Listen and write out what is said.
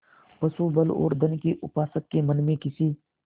पशुबल और धन के उपासक के मन में किसी